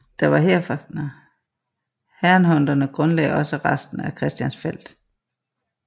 Herrnhuterne grundlagde også resten af Christiansfeld